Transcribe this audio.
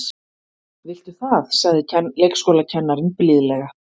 Viltu það sagði leikskólakennarinn blíðlega.